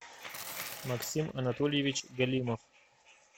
максим анатольевич галимов